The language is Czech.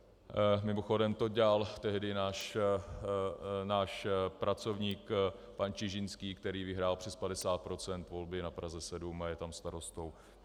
Mimochodem to dělal tehdy náš pracovník pan Čižinský, který vyhrál přes 50 % volby na Praze 7 a je tam starostou.